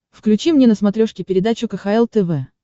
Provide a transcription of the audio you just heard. включи мне на смотрешке передачу кхл тв